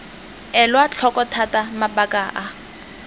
elwa tlhoko thata mabaka a